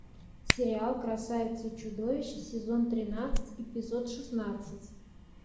сериал красавица и чудовище сезон тринадцать эпизод шестнадцать